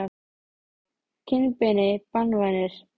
Friðjónssyni og útlendingslega fylgdarmanninum sem var